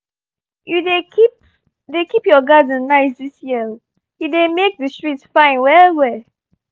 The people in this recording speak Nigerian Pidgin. you dey keep dey keep your garden nice this year — e dey make the street fine well well